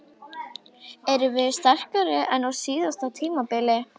Erum við sterkari en á síðasta tímabili?